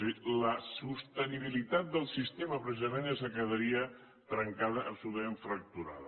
és a dir la sostenibilitat del sistema precisament és la que quedaria trencada absolutament fracturada